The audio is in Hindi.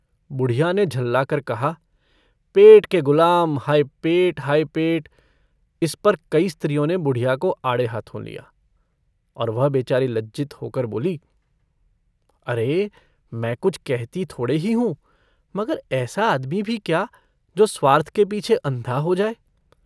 बुढ़िया ने झल्लाकर कहा - पेट के गुलाम! हाय पेट, हाय पेट! इस पर कई स्त्रियों ने बुढ़िया को आड़े हाथों लिया, और वह बेचारी लज्जित होकर बोली - अरे मैं कुछ कहती थोड़े ही हूँ, मगर ऐसा आदमी भी क्या जो स्वार्थ के पीछे अन्धा हो जाए।